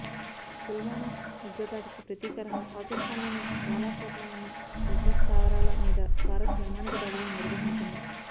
పుల్వామా ఉగ్రదాడికి ప్రతీకారంగా పాకిస్థాన్లోని బాలాకోట్లోని ఉగ్రస్థావరాల మీద భారత్ వైమానిక దాడులు నిర్వహించింది